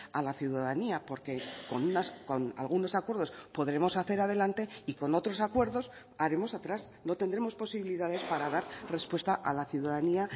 a la ciudadanía porque con algunos acuerdos podremos hacer adelante y con otros acuerdos haremos atrás no tendremos posibilidades para dar respuesta a la ciudadanía